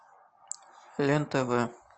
лен тв